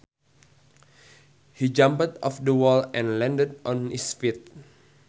He jumped off the wall and landed on his feet